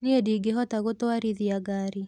Nie ndingihota gũtwarithia ngari